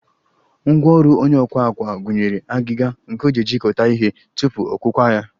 Ngwaọrụ onye ọkwa àkwá gụnyere agịga nke o ji ejikọta ihe tupu ọkwụkwa ya